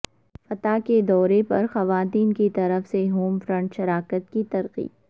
فتح کے دورے پر خواتین کی طرف سے ہوم فرنٹ شراکت کی ترقی